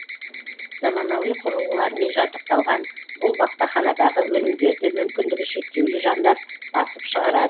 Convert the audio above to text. заманауи құрылғылармен жабдықталған бұл баспаханадағы өнімдерді мүмкіндігі шектеулі жандар басып шығарады